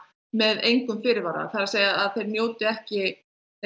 með engum fyrirvara það er að segja þeir njóti ekki